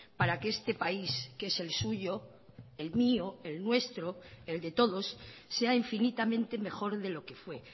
para que este país que es el suyo el mío el nuestro el de todos sea infinitamente mejor de lo que fue